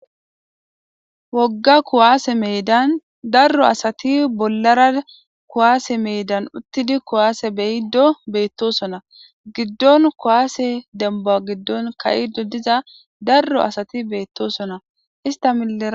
wogga kuwaase meedan darro asati bollara kuwaase meedan uttidi kuwaase beyiddo beettosona giddon kuwaase demba giddon kayido diza darro asati beettosona istamille